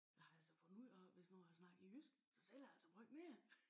Jeg har altså fundet ud af hvis nu jeg snakker jysk så sælger jeg altså meget mere